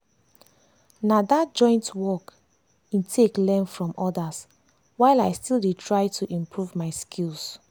na that joint work in take learn from others while i still dey try to improve my skills.